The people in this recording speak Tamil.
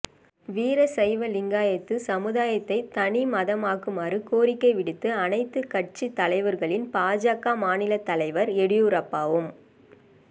வீரசைவலிங்காயத்து சமுதாயத்தை தனிமதமாக்குமாறு கோரிக்கை விடுத்த அனைத்துக் கட்சித் தலைவர்களில் பாஜக மாநிலத் தலைவர் எடியூரப்பாவும்